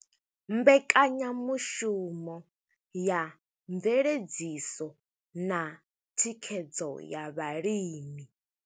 Mbekanyamushumo ya mveledziso na thikhedzo ya vhalimi.